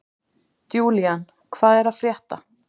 Julian, hvað er að frétta?